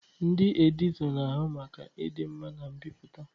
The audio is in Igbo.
Ndị editọ na-ahụ maka ịdị mma na mbipụta.